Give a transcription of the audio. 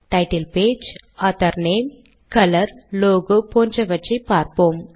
title page author name colour logo போன்றவற்றை பார்ப்போம்